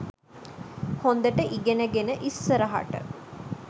හොඳට ඉගෙන ගෙන ඉස්සරහට